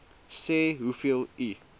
sê hoeveel u